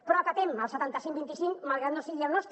però acatem el setanta cinc vint i cinc malgrat que no sigui el nostre